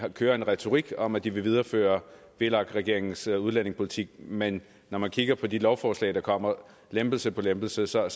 kører en retorik om at de vil videreføre vlak regeringens udlændingepolitik men når man kigger på de lovforslag der kommer lempelse på lempelse så